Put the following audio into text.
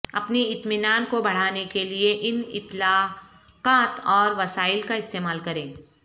اپنی اطمینان کو بڑھانے کے لئے ان اطلاقات اور وسائل کا استعمال کریں